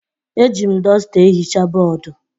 Eji m dọsta ehicha bọọdụ